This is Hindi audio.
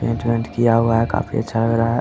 पेंट बेंट किया हुआ है काफी अच्छा लग रहा है।